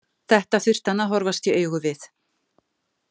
Þetta þurfti hann að horfast í augu við.